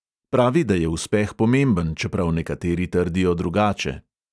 Pravi, da je uspeh pomemben, čeprav nekateri trdijo drugače.